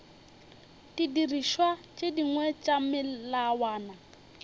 didirišwa tše dingwe tša melawana